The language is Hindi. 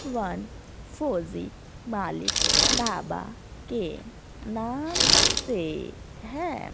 वन फोरजी मालिक ढाबा के नाम से है।